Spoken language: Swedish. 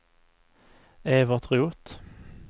Evert Roth